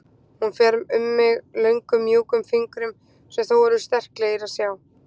Hún fer um mig löngum mjúkum fingrum sem þó eru svo sterklegir að sjá.